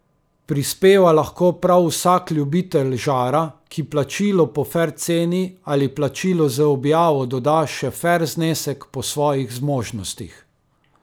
Prispeva lahko prav vsak ljubitelj žara, ki plačilu po fer ceni ali plačilu z objavo doda še fer znesek po svojih zmožnostih.